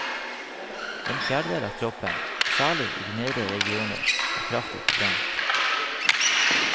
En fjerdedel av kroppen, særlig i de nedre regioner, var kraftig forbrent.